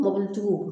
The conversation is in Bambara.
Mɔbilitigiw